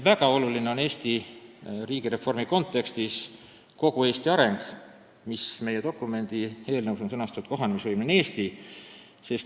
Väga oluline Eesti riigireformi kontekstis on kogu Eesti areng, mis meie, Riigikogu dokumendi eelnõus on sõnastatud kui kohanemisvõimeline Eesti.